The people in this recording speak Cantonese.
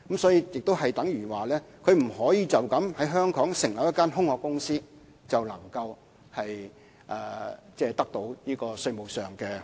所以，亦等於它不可以單靠在香港成立一間空殼公司，然後便可以得到這些稅務優惠。